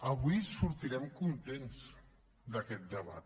avui sortirem contents d’aquest debat